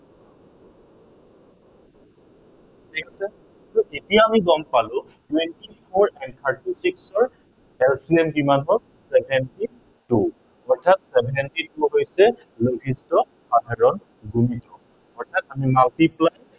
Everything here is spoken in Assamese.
ঠিক আছে, so এতিয়া আমি গম পালো twenty four answer টো কি হয়। LCM কিমান হল seventy two অৰ্থাত seventy two হৈছে লঘিষ্ঠ সাধাৰণ গুণিতক। অৰ্থাত আমি multiply